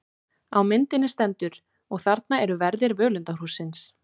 Á myndinni stendur: Og þarna eru verðir völundarhússins.